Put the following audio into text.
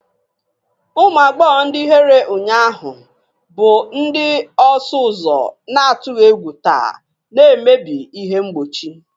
Ụmụ agbọghọ ndị ihere ụnyaahụ bụ ndị ọsụ ụzọ na-atụghị egwu taa, na-emebi ihe mgbochi.